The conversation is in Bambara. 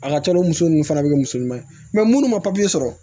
A ka ca la o muso nunnu fana bɛ kɛ muso ɲuman ye munnu ma sɔrɔ